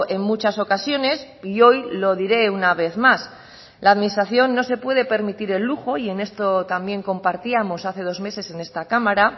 en muchas ocasiones y hoy lo diré una vez más la administración no se puede permitir el lujo y en esto también compartíamos hace dos meses en esta cámara